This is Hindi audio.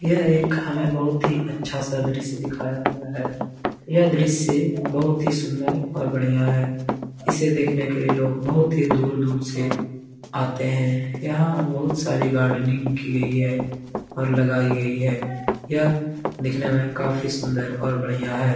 यह एक हमे बहुत ही अच्छा सा दृश्य दिखाया गया है यह दृश्य बहुत ही सुंदर और बढ़िया है | इसे देखने के लिए लोग बहुत ही दूर दूर से आते हैं | यहाँ बहुत सारी गार्डनिंग की गयी है और लगाई गयी है यह दिखने में काफी सुंदर और बढ़िया है ।